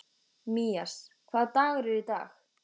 Mías, hvaða dagur er í dag?